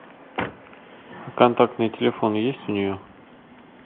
контактные телефоны есть у нее